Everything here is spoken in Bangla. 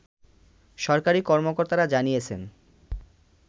সরকারি কর্মকর্তারা জানিয়েছেন